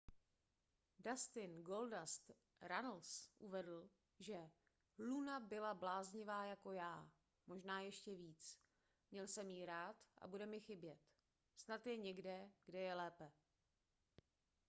dustin goldust runnels uvedl že luna byla bláznivá jako já možná ještě víc měl jsem ji rád a bude mi chybět snad je někde kde je lépe